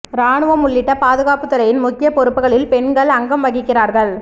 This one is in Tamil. ராணுவம் உள்ளிட்ட பாதுகாப்புத் துறையின் முக்கிய பொறுப்புகளில் பெண்கள் அங்கம் வகிக்கிறாா்கள்